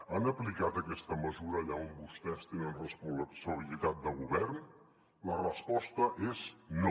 han aplicat aquesta mesura allà on vostès tenen responsabilitat de govern la resposta és no